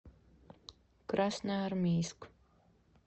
красноармейск